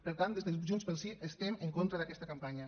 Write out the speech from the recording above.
per tant des de junts pel sí estem en contra d’aquesta campanya